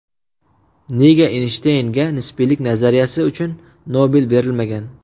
Nega Eynshteynga nisbiylik nazariyasi uchun Nobel berilmagan?.